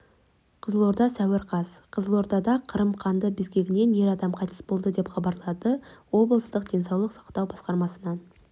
қызылорда сәуір қаз қызылордада қырым-қанды безгегінен ер азамат қайтыс болды деп хабарлады облыстық денсаулық сақтау басқармасынан